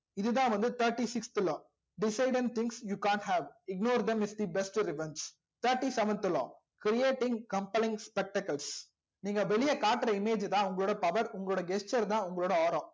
இதுதா வந்து thirty sixth law thinks you cant have ignore them is the best revenge thirty seventh law creating spectacles நீங்க வெளிய காற்ற image தா உங்களோட power உங்களோட gesture தா உங்களோட